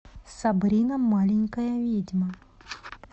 сабрина маленькая ведьма